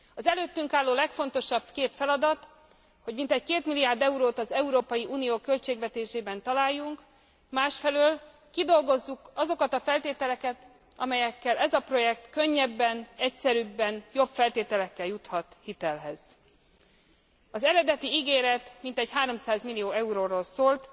Az előttünk álló legfontosabb két feladat, hogy mintegy 2 milliárd eurót az Európai Unió költségvetésében találjunk, másfelől kidolgozzuk azokat a feltételeket, amelyekkel ez a projekt könnyebben, egyszerűbben, jobb feltételekkel juthat hitelhez. Az eredeti ígéret mintegy 30 millió euróról szólt.